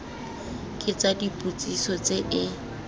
ke tsa dipotsiso tse e